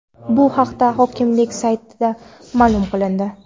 Bu haqda hokimlik saytida ma’lum qilindi .